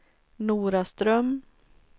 Noraström